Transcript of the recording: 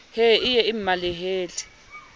he e ye e mmalehele